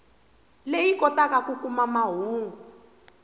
leyi kotaka ku kuma mahungu